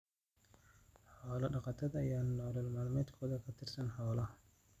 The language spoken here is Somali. Xoolo-dhaqatada ayaa nolol maalmeedkooda ku tiirsan xoolaha.